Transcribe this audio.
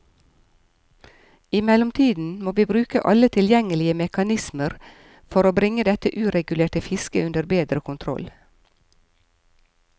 I mellomtiden må vi bruke alle tilgjengelige mekanismer for bringe dette uregulerte fisket under bedre kontroll.